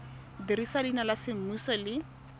dirisa leina la semmuso le